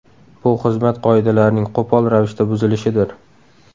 Bu xizmat qoidalarining qo‘pol ravishda buzilishidir.